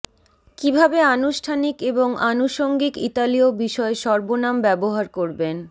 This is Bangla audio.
কিভাবে আনুষ্ঠানিক এবং আনুষঙ্গিক ইতালীয় বিষয় সর্বনাম ব্যবহার করবেন